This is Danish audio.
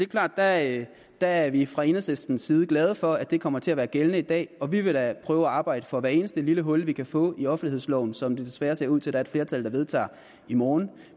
klart at der er vi fra enhedslistens side glade for at det kommer til at være gældende i dag og vi vil da prøve at arbejde for hvert eneste lille hul vi kan få i offentlighedsloven som der desværre ser ud til at være et flertal der vedtager i morgen